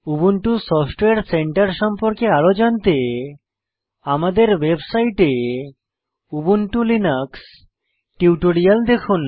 Ubuntu software centre সম্পর্কে আরও জানতে আমাদের ওয়েবসাইটে উবুন্টু লিনাক্স টিউটোরিয়াল দেখুন